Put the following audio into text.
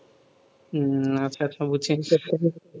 হম আচ্ছা আচ্ছা বুঝছি